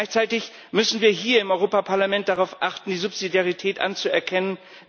Gleichzeitig müssen wir hier im Europäischen Parlament darauf achten, die Subsidiarität anzuerkennen.